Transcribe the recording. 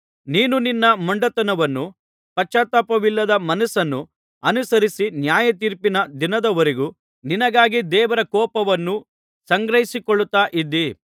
ನೀನು ನಿನ್ನ ಮೊಂಡತನವನ್ನೂ ಪಶ್ಚಾತ್ತಾಪವಿಲ್ಲದ ಮನಸ್ಸನ್ನೂ ಅನುಸರಿಸಿ ನ್ಯಾಯತೀರ್ಪಿನ ದಿನದವರೆಗೂ ನಿನಗಾಗಿ ದೇವರ ಕೋಪವನ್ನು ಸಂಗ್ರಹಿಸಿಕೊಳ್ಳುತ್ತಾ ಇದ್ದೀ